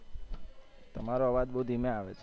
તમારો અવાજ બઉ ધીમે આવે છે.